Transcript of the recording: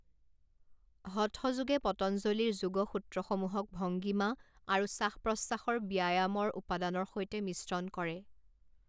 হঠ যোগে পতঞ্জলীৰ যোগ সূত্ৰসমূহক ভংগিমা আৰু শ্বাসপ্ৰশ্বাসৰ ব্যায়ামৰ উপাদানৰ সৈতে মিশ্ৰণ কৰে।